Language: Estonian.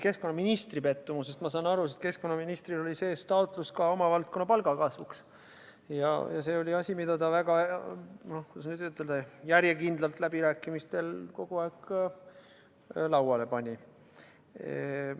Keskkonnaministri pettumusest saan ma aru, sest keskkonnaministril oli sees taotlus oma valdkonna palgakasvuks ja see oli asi, mida ta läbirääkimistel kogu aeg väga järjekindlalt lauale pani.